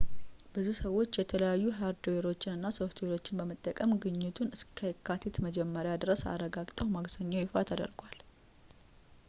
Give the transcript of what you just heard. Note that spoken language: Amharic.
ብዙ ሰዎች የተለያዩ ሃርድዌሮችን እና ሶፍትዌሮችን በመጠቀም ግኝቱን እስከ የካቲት መጀመሪያ ድረስ አረጋግጠው ማክሰኞ ይፋ ተደርጓል